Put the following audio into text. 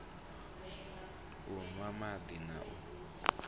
u nwa madi na u